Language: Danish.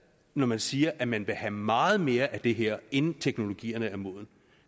når man siger at man vil have meget mere af det her inden teknologierne er modne